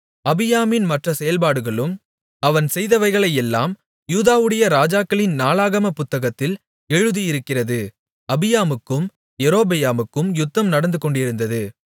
அபியாமின் மற்ற செயல்பாடுகளும் அவன் செய்தவைகளெல்லாம் யூதாவுடைய ராஜாக்களின் நாளாகமப் புத்தகத்தில் எழுதியிருக்கிறது அபியாமுக்கும் யெரொபெயாமுக்கும் யுத்தம் நடந்துகொண்டிருந்தது